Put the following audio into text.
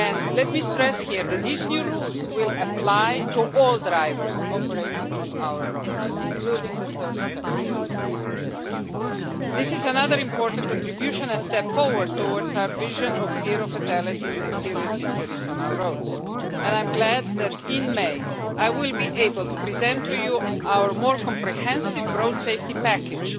Let me stress here that these new rules will apply to all drivers operating on our roads, including the third countries. This is another important contribution, a step forward towards our vision of zero fatalities and serious injuries on our roads, and I am glad that in May I will be able to present to you our more comprehensive Road Safety Package,